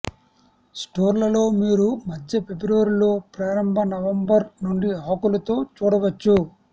స్టోర్లలో మీరు మధ్య ఫిబ్రవరిలో ప్రారంభ నవంబర్ నుండి ఆకులు తో చూడవచ్చు